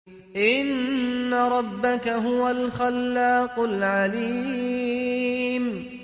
إِنَّ رَبَّكَ هُوَ الْخَلَّاقُ الْعَلِيمُ